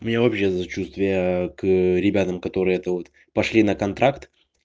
у меня вообще сочувствие к ребятам которые это вот пошли на контракт